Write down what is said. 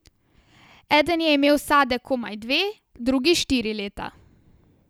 Eden je imel vsadek komaj dve, drugi štiri leta.